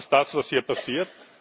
Das ist das, was hier passiert.